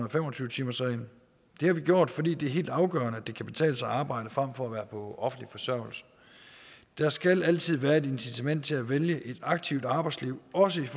og fem og tyve timersregel det har vi gjort fordi det er helt afgørende at det kan betale sig at arbejde frem for at være på offentlig forsørgelse der skal altid være et incitament til at vælge et aktivt arbejdsliv også